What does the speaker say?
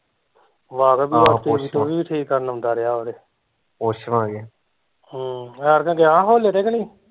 ਵਾਕਬ ਈ ਆ ਠੀਕ ਕਰਨ ਆਉਂਦਾ ਰਿਹਾ ਵਾ ਉਰੇ ਹਮ ਐਤਕਾਂ ਗਿਆ ਹੋਲੇ ਤੇ ਕਿ ਨਹੀਂ